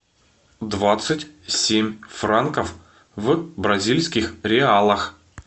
двадцать семь франков в бразильских реалах